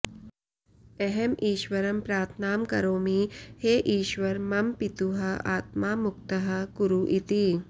अहम् ईश्वरं प्रार्थनां करोमि हे ईश्वर मम पितुः आत्मा मुक्तः कुरु इति